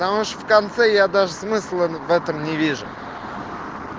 потому что в конце я даже смысла в этом не вижу